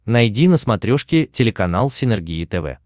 найди на смотрешке телеканал синергия тв